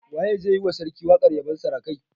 Waye zai yi wa sarki waƙar yabon sarakai?